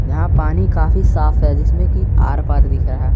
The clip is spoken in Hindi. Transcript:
यहां पानी काफी साफ है जिसमें की आर पार दिख रहा है।